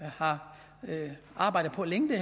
har arbejdet på længe det